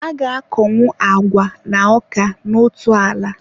A ga-akọnwu agwa na ọka n'otu ala.